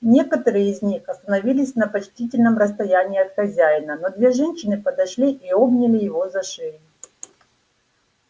некоторые из них остановились на почтительном расстоянии от хозяина но две женщины подошли и обняли его за шею